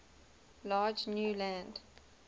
large new land